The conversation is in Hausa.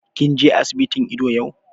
Kin je asibitin ido yau?